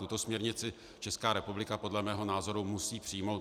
Tuto směrnici Česká republika podle mého názoru musí přijmout.